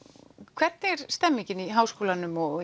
hvernig er stemningin í Háskólanum og